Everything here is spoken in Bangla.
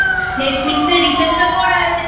Netflix এর Recharge টা করা আছে।